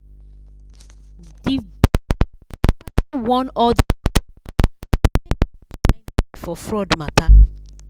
di bank sharply warn all dia customer say make dem shine eye for fraud matter.